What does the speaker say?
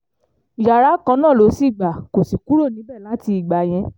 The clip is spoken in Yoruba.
yàrá kan náà ló sì gbà kó sì kúrò níbẹ̀ láti ìgbà yẹn